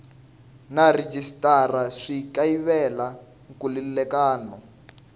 na rhejisitara swi kayivela nkhulukelano